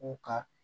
U ka